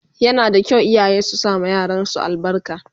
Yana da kyau iyaye su sama yaran su albarka